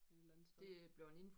Et eller andet sted